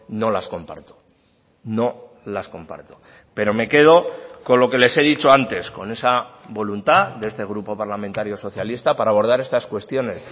no las comparto no las comparto pero me quedo con lo que les he dicho antes con esa voluntad de este grupo parlamentario socialista para abordar estas cuestiones